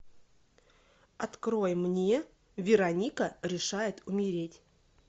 открой мне вероника решает умереть